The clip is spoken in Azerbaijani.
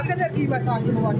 Nə qədər qiymət artımı var təxminən?